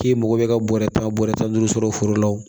K'i mago bɛ ka bɔrɛ tan bɔrɛ tan duuru sɔrɔ foro la o